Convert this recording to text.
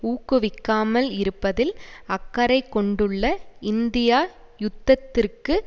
ஊக்குவிக்காமல் இருப்பதில் அக்கறை கொண்டுள்ள இந்தியா யுத்தத்திற்கு